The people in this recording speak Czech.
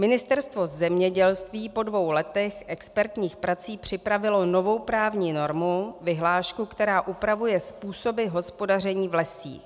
Ministerstvo zemědělství po dvou letech expertních prací připravilo novou právní normu, vyhlášku, která upravuje způsoby hospodaření v lesích.